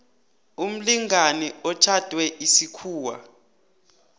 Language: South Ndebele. umlingani otjhadwe isikhuwa